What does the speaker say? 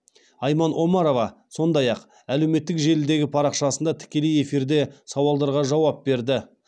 айман омарова сондай ақ әлеуметтік желідегі парақшасында тікелей эфирде сауалдарға жауап берді